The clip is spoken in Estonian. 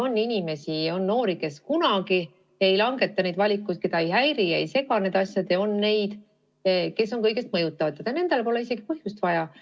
On inimesi, noori, kes kunagi ei langeta selliseid valikuid, keda ei häiri, ei sega need asjad, ja on neid, kes on kõigest mõjutatavad ja nendel pole isegi põhjust vaja.